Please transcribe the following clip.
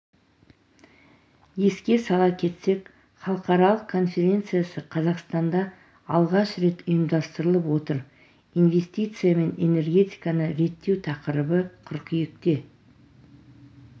еске сала кетсек халықаралық конференциясы қазақстанда алғаш рет ұйымдастырылып отыр инвестиция мен энергетиканы реттеу тақырыбы қыркүйекте